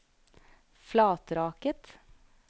Flatraket